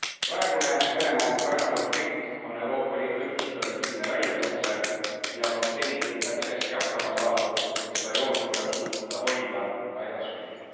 Praegune Venemaa ja Ukraina konflikt on Euroopa Liidu ühtsusele tõsine väljakutse, millega on seni küll päris hästi hakkama saadud, kuid seda joont tuleb suuta hoida ka edaspidi.